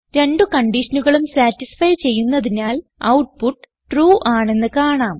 രണ്ട് കൺഡിഷനുകളും സതിസ്ഫൈ ചെയ്യുന്നതിനാൽ ഔട്ട്പുട്ട് ട്രൂ ആണെന്ന് കാണാം